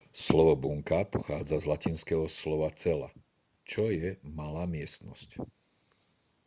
slovo bunka pochádza z latinského slova cella čo je malá miestnosť